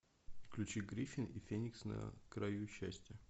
включи гриффин и феникс на краю счастья